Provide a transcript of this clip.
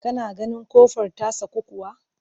Ka na ganin ƙofar ta saku kuwa?